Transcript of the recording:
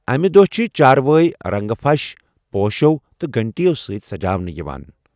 امہِ دۄہہ چھِ چاروٲے رَنٛگہٕ پھَش، پوشو تہٕ گھنٹِیو سۭتۍ سجاونہٕ یِوان۔